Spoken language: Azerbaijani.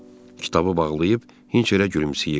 Kitabı bağlayıb Hinçerə gülümsəyirdi.